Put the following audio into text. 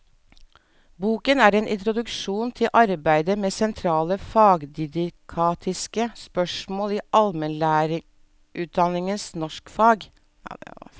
Boken er en introduksjon til arbeidet med sentrale fagdidaktiske spørsmål i allmennlærerutdanningens norskfag.